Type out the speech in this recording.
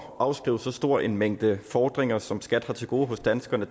at afskrive så stor en mængde fordringer som skat har til gode hos danskerne